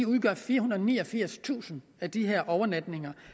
udgør firehundrede og niogfirstusind af de her overnatninger